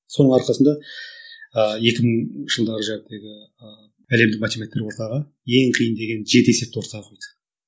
соның арқасында ыыы екі мыңыншы жылдары әлемдік математиктер ортаға ең қиын деген жеті есепті ортаға қойды